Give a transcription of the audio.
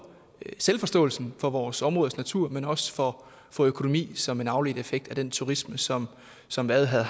selvforståelsen for vores områdes natur men også for for økonomien som en afledt effekt af den turisme som som vadehavet